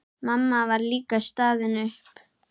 Mamma var líka staðin upp.